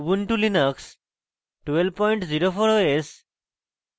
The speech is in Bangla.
ubuntu linux 1204 os এবং